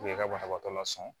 U ye ka banabaatɔ lasɔŋɔ